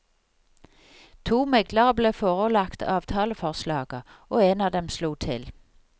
To meglere ble forelagt avtaleforslaget, og én av dem slo til.